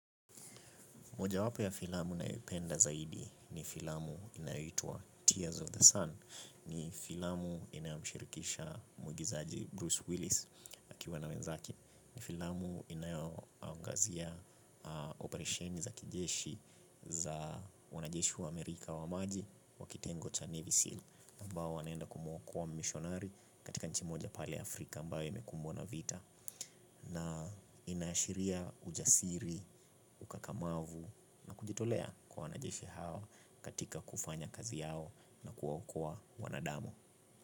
Mojawapo ya filamu ninayo penda zaidi ni filamu inayoitwa Tears of the Sun. Ni filamu inayomshirikisha mwigizaji Bruce Willis akiwa na wenzake. Ni filamu inayangazia operesheni za kijeshi za wanajeshu wa Amerika wa maji wakitengo cha Navy SEAL. Mbao wanaenda kumokuwa mishonari katika nchimoja pale Afrika mbao emekumbwa na vita. Na inaashiria ujasiri, ukakamavu na kujitolea kwa wanajeshi hawa katika kufanya kazi yao na kuokoa wanadamu.